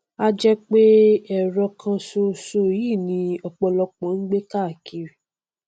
a jẹ pé ẹrọ kan ṣoṣo yìí ni ọpọlọpọ ń gbé káàkiri